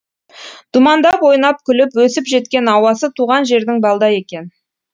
думандап ойнап күліп өсіп жеткен ауасы туған жердің балдай екен